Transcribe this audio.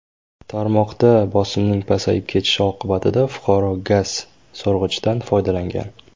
Tarmoqda bosimning pasayib ketishi oqibatida fuqaro gaz so‘rg‘ichdan foydalangan.